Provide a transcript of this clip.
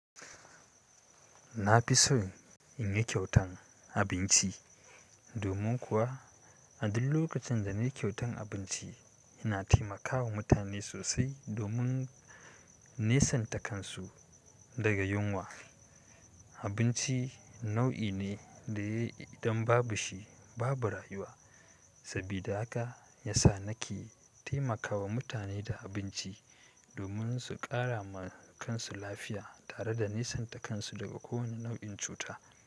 Na fi so in yi kyautan abinci domin kuwa a duk lokacin da na yi kyautan abinci, ina taimakawa mutane sosai domin nisanta kansu daga yunwa. Abinci nau'i ne da idan babu shi babu rayuwa, sabida haka ya sa nake taimakawa mutane da abinci na fi so in yi kyautan abinci.